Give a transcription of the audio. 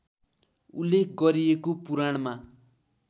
उल्लेख गरिएको पुराणमा